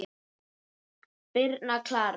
Birna Klara.